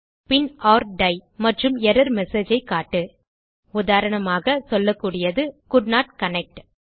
பின் ஒர் டை மற்றும் எர்ரர் மெசேஜ் ஐ காட்டு உதாரணமாக சொல்லக்கூடியது கோல்டன்ட் கனெக்ட்